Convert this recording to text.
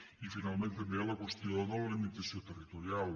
i finalment també hi ha la qüestió de la limitació territorial